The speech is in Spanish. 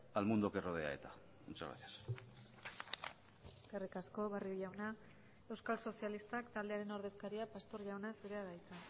al mundo que rodea eta muchas gracias eskerrik asko barrio jauna euskal sozialistak taldearen ordezkaria pastor jauna zurea da hitza